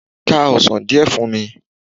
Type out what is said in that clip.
Ká ọsán díẹ̀ fún mi!